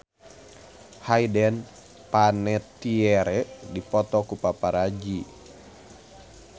Hayden Panettiere dipoto ku paparazi